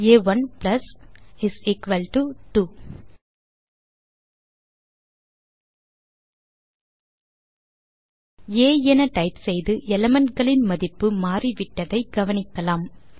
ஆ1 plus2 ஆ என டைப் செய்து elementகளின் மதிப்பு மாறிவிட்டதை கவனிக்கலாம்